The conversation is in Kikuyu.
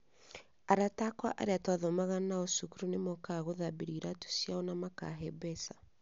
Arata akwa arĩa twathomaga nao cukuru nĩmokaga gũthambĩrio iraatũ ciao na makahe mbeca.